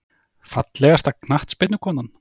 Fallegasta knattspyrnukonan?